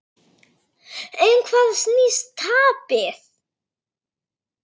Um hvað snýst tapið?